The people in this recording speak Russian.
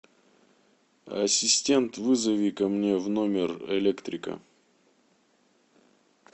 ассистент вызови ко мне в номер электрика